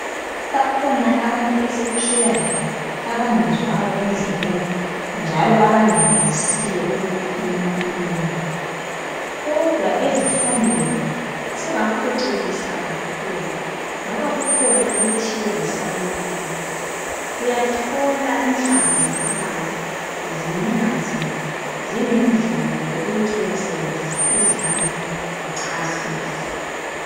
Bakhona abantu esiphila labo ebangezwayo endlebeni njalo abengenelisiyo ukukhuluma emlonyeni kodwa ezifundweni sebaphucukisa kakhulu ngoba kukhona okuthiwa yi isign language uyathola inhlamvu zamabala zinye ngazinye zilendlela yokuthi uyasebenzisa izandla uchasisa.